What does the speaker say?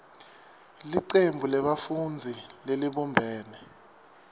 licembu lebafundzi lelibumbene